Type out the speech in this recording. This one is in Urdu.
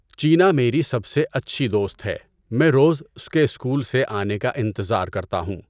چینا میری سب سے اچھی دوست ہے۔ میں روز اس کے اسکول سے آنے کا انتظار کرتا ہوں۔